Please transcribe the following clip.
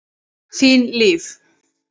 Þín Líf.